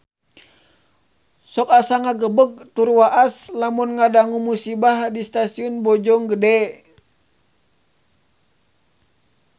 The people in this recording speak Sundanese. Sok asa ngagebeg tur waas lamun ngadangu musibah di Stasiun Bojonggede